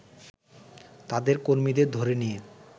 তাদের কর্মীদের ধরে নিয়ে